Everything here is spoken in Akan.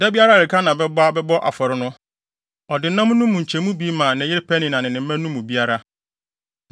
Da biara a Elkana bɛba abɛbɔ afɔre no, ɔde nam no mu nkyɛmu bi ma ne yere Penina ne ne mma no mu biara.